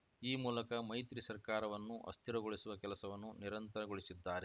ಈ ಮೂಲಕ ಮೈತ್ರಿ ಸರ್ಕಾರವನ್ನು ಅಸ್ಥಿರಗೊಳಿಸುವ ಕೆಲಸವನ್ನು ನಿರಂತರಗೊಳಿಸಿದ್ದಾರೆ